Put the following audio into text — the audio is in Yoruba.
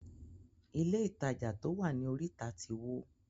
Ilé ìtajà to wá ní orita tí wó.